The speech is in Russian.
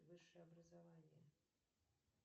высшее образование